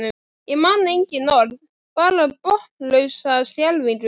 Ég man engin orð, bara botnlausa skelfingu.